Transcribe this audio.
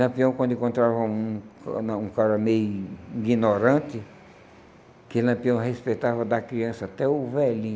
Lampião, quando encontrava um não um cara meio ignorante, que Lampião respeitava da criança até o velhinho.